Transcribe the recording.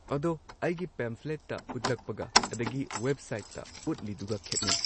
ꯑꯗꯣ ꯑꯩꯒꯤ ꯄꯦꯝꯐ꯭ꯂꯦꯠꯇ ꯎꯠꯂꯛꯄꯒ ꯑꯗꯒꯤ ꯋꯦꯕꯁꯥꯏꯠꯇ ꯎꯠꯂꯤꯗꯨꯒ ꯈꯦꯠꯅꯩ꯫